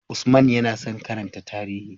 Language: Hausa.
Usman yana son karanta tarihi.